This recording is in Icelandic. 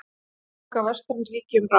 Saka vestræn ríki um rán